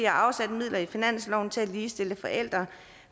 har afsat midler i finansloven til at ligestille forældre